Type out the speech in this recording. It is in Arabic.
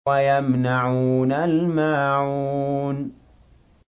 وَيَمْنَعُونَ الْمَاعُونَ